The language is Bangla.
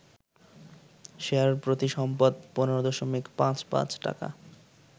শেয়ারপ্রতি সম্পদ ১৫.৫৫ টাকা